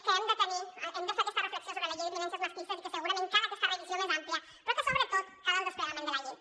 que hem de fer aquesta reflexió sobre la llei de contra les violències masclistes i que segurament cal aquesta revisió més àmplia però que sobretot cal el desplegament de la llei